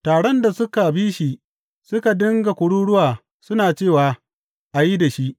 Taron da suka bi suka dinga kururuwa, suna cewa, A yi da shi!